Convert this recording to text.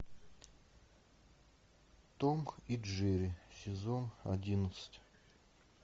том и джерри сезон одиннадцать